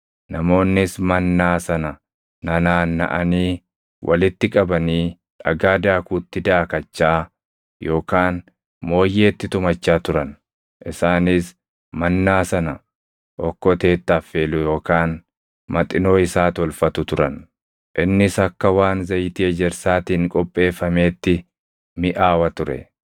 Namoonnis mannaa sana nanaannaʼanii walitti qabanii dhagaa daakuutti daakachaa yookaan mooyyeetti tumachaa turan. Isaanis mannaa sana okkoteetti affeelu yookaan maxinoo isaa tolfatu turan. Innis akka waan zayitii ejersaatiin qopheeffameetti miʼaawa ture.